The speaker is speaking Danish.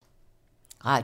Radio 4